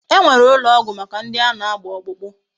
E nwere ulo ogwu Maka ndi ana agba okpukpu